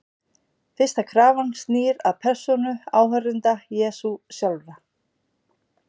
Fyrsta krafan snýr að persónu áheyrenda Jesú sjálfra.